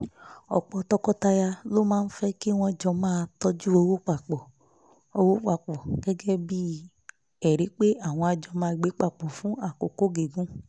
pẹ̀lú ìpinnu yíyọ emefiele látàrí àtúnṣe ọrọ̀-ajé.